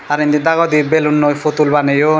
aro endi dagodi balloonoi putul banayoun.